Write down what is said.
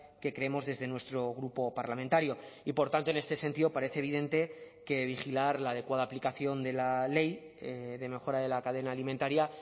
que creemos desde nuestro grupo parlamentario y por tanto en este sentido parece evidente que vigilar la adecuada aplicación de la ley de mejora de la cadena alimentaria